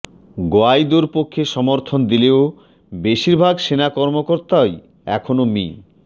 গোয়াইদোর পক্ষে সমর্থন দিলেও বেশির ভাগ সেনা কর্মকর্তাই এখনো মি